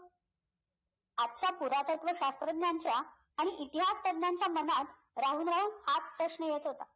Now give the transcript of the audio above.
आजच्या पुरातत्व शास्त्रज्ञाचा इतिहासतज्ञांच्या मनात राहून राहून हाच प्रश्न येत होता